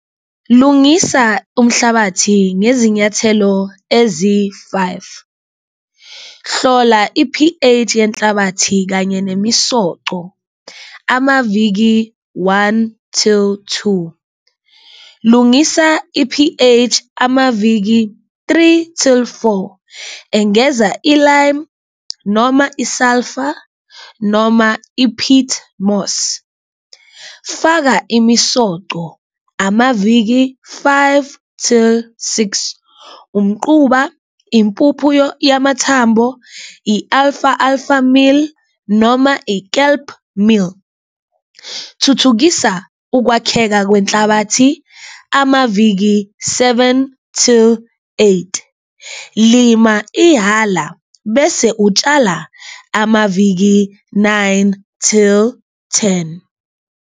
Lungisa umhlabathi ngezinyathelo eziyi-five. Hlola i-P_H yenhlabathi kanye nemisoco amaviki one till two, lungisa i-P_H amaviki three till four, engeza i-lime noma i-sulphur noma i-pitmoss, faka imisoco amaviki five till six, umquba, impupho yamathambo, i-alfa, alfa mill noma i-kelp mill. Thuthukisa ukwakheka kwenhlabathi amaviki seven till eight, lima ihhala bese utshala amaviki nine till ten.